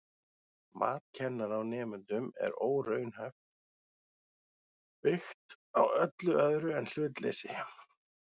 Mat kennara á nemendum er óraunhæft, byggt á öllu öðru en hlutleysi.